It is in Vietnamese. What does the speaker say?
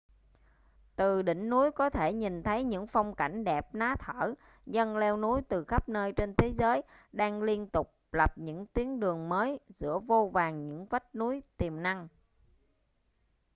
từ đỉnh núi có thể nhìn thấy những phong cảnh đẹp ná thở dân leo núi từ khắp nơi trên thế giới đang liên tục lập những tuyến đường mới giữa vô vàn những vách núi tiềm năng